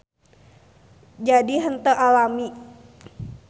Jadi henteu alami.